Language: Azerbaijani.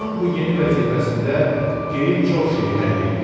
Onun bu yeni vəzifəsində geyim çox şeyi həll eləyirdi.